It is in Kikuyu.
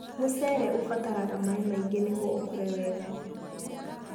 Mũcere ũbataraga maĩ maingĩ nĩguo ũkũre wega.